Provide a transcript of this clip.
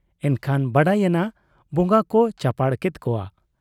ᱮᱱᱠᱷᱟᱱ ᱵᱟᱰᱟᱭᱮᱱᱟ ᱵᱚᱜᱟ ᱠᱚ ᱪᱟᱯᱟᱲ ᱠᱮᱫ ᱠᱚᱣᱟ ᱾